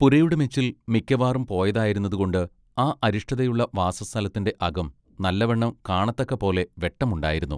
പുരയുടെ മെച്ചിൽ മിക്കവാറും പോയതായിരുന്നതുകൊണ്ട് ആ അരിഷ്ടതയുള്ള വാസസ്ഥലത്തിന്റെ അകം നല്ല വണ്ണം കാണത്തക്കപോലെ വെട്ടമുണ്ടായിരുന്നു.